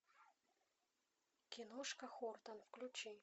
киношка хортон включи